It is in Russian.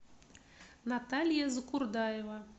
наталья закурдаева